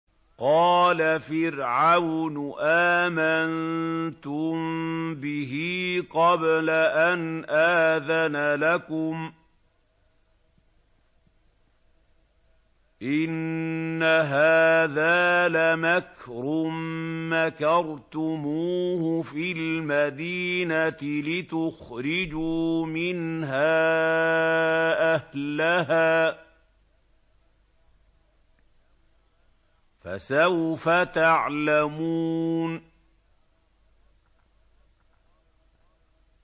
قَالَ فِرْعَوْنُ آمَنتُم بِهِ قَبْلَ أَنْ آذَنَ لَكُمْ ۖ إِنَّ هَٰذَا لَمَكْرٌ مَّكَرْتُمُوهُ فِي الْمَدِينَةِ لِتُخْرِجُوا مِنْهَا أَهْلَهَا ۖ فَسَوْفَ تَعْلَمُونَ